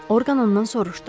Orqan ondan soruşdu.